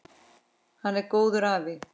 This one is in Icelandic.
Hann var góður afi.